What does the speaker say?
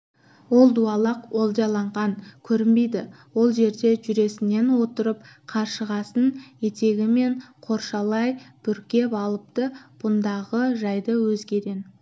ол дуадақ олжаланған көрінбейді ол жерде жүресінен отырып қаршығасын етегімен қоршалай бүркеп алыпты бұндағы жайды өзгеден